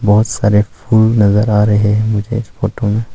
बहोत सारे फूल नजर आ रहे हैं मुझे इस फोटो में।